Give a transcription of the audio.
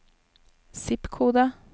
zip-kode